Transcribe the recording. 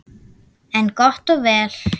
En gott og vel.